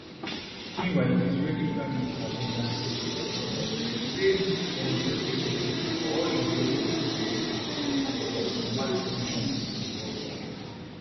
meanwhile di israeli prime minister benjamin netanyahu says dem go increase security for all israeli representatives and for dia diplomatic missions worldwide